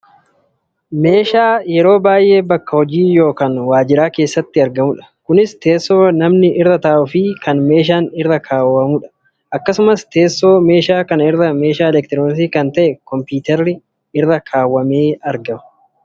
Meeshaa yeroo baayyee bakka hojii yookaan waajjira keessatti argamudha. Kunis tessoo namni irra ta'uufi kan meeshaa irra kaawwatanidha. Akkasumas teessoo meeshaa kana irra meeshaa elektirooniksi kan ta'e kompuutarri irratti argama.